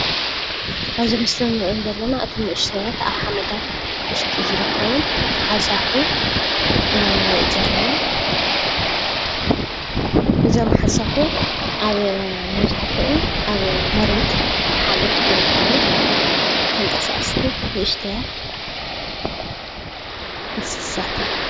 አብዚ ምስሊ ንሪኦም ዘለና እቶም አናእሽተያት አብ ሓመዳት ውሽጢ ዝርከቡ ሓሳኹ ኢና ነሪኢ ዘለና እዞም ሓሳኹ አብ መብዛሕቲኡ አብ መሬት አብ ሓመድ ዝርከቡ ተንቀሳቀስቲ ንእሽተያት እንስሳት እዮም፡፡